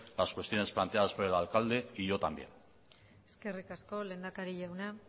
las cuestiones planteadas por el alcalde y yo también eskerrik asko lehendakari jauna